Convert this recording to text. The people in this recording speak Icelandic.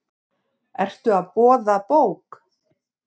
Ertu að boða bók?